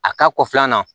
A ka kɔ filanan na